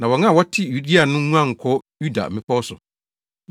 na wɔn a wɔte Yudea no nguan nkɔ Yuda mmepɔw so.